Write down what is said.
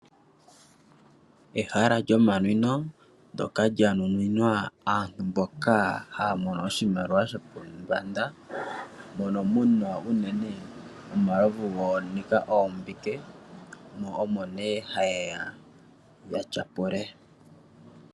Eehala lyomanwino ndyoka lya nuninwa aantu mboka ha ya mono oshimaliwa shopombanda. Mono muna omalovu uunene ga nika oombike, mo omo nee ha yeya ya tyapule.